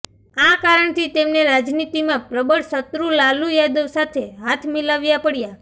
આ કારણથી તેમને રાજનીતિમાં પ્રબળ શત્રુ લાલુ યાદવ સાથે હાથ મિલાવ્યા પડ્યા